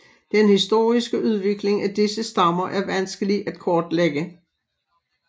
Den historiske udvikling af disse stammer er vanskelig at kortlægge